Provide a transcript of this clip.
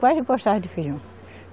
Quase não gostava de feijão.